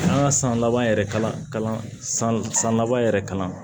An ka san laban yɛrɛ kalan san san laban yɛrɛ kalan